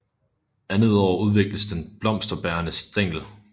Andet år udvikles den blomsterbærende stængel